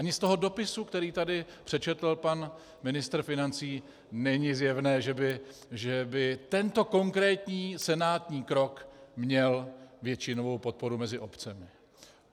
Ani z toho dopisu, který tady přečetl pan ministr financí, není zjevné, že by tento konkrétní senátní krok měl většinovou podporu mezi obcemi.